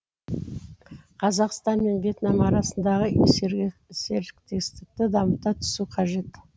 қазақстан мен вьетнам арасындағы серіктестікті дамыта түсу қажет